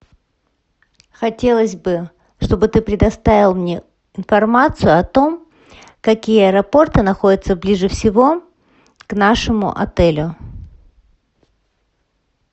хотелось бы чтобы ты предоставил мне информацию о том какие аэропорты находятся ближе всего к нашему отелю